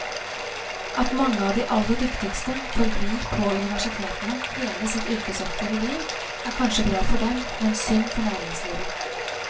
At mange av de aller dyktigste forblir på universitetene hele sitt yrkesaktive liv, er kanskje bra for dem, men synd for næringslivet.